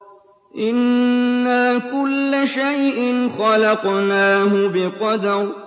إِنَّا كُلَّ شَيْءٍ خَلَقْنَاهُ بِقَدَرٍ